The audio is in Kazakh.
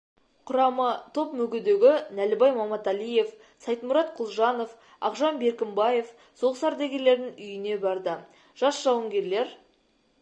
құрамы топ мүгедегі нәлібай маматалиев сайтмұрат құлжанов ақжан беркімбаев соғыс ардагерлерінің үйіне барды жас жауынгерлер